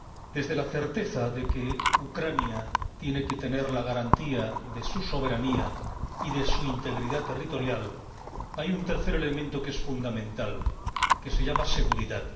Desde la certeza de que Ucrania tiene que tener la garantía de su soberanía y de su integridad territorial, hay un tercer elemento fundamental que se llama seguridad.